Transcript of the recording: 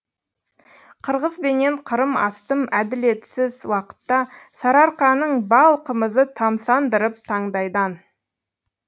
қырғыз бенен қырым астым әділетсіз уақытта сарыарқаның бал қымызы тамсандырып таңдайдан